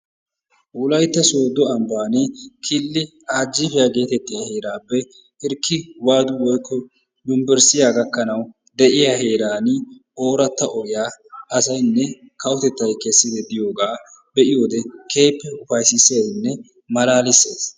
Wolaytta soddo ambbaan kiilli ajjipiyaa getettiyaa heerappe hirkki waadu woykko unberesttiyaa gaakkanawu de'iyaa heeran ooratta ogiyaa asaynne kawottettay keessiidi diyoogaa be'iyoode keehippe upayssissesinne malaalisees.